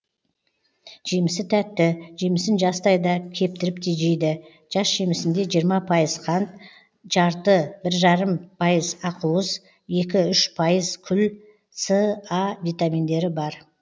жемісі тәтті жемісін жастай да кептіріп те жейді жас жемісінде жиырма пайыз қант жарты бір жарым пайыз ақуыз екі үш пайыз күл с а витаминдері бар